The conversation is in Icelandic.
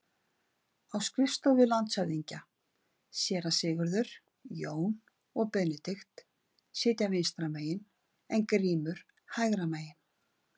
Á skrifstofu landshöfðingja: Séra Sigurður, Jón og Benedikt sitja vinstra megin en Grímur hægra megin.